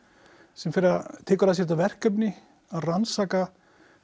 sem tekur að sér þetta verkefni að rannsaka